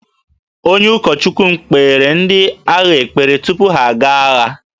Onye ụkọchukwu m kpeere ndị agha ekpere tupu ha aga agha